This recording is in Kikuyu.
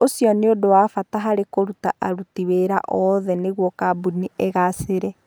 Ũcio nĩ ũndũ wa bata harĩ kũruta aruti wĩra oothe nĩguo kambuni ĩgaacĩre.